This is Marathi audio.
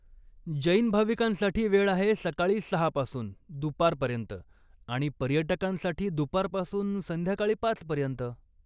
जैन भाविकांसाठी वेळ आहे सकाळी सहा पासून दुपारपर्यंत आणि पर्यटकांसाठी दुपारपासून संध्याकाळी पाच पर्यंत.